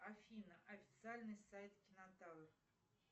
афина официальный сайт кинотавр